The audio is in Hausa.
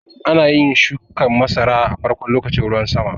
Ana yin shuƙin masara a farkon lokacin ruwan sama.